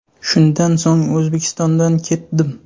Shundan so‘ng O‘zbekistondan ketdim.